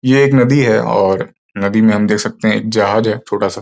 ये एक नदी है और नदी में हम देख सकते हैं एक जहाज है छोटा सा।